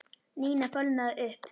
Nína fölnaði upp.